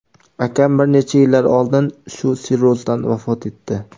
Akam bir necha yillar oldin shu sirrozdan vafot etdi.